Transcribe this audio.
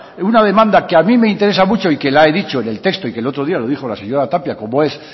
una demanda que a mí me interesa mucho y que la he dicho en el texto y que el otro día lo dijo la señora tapia como es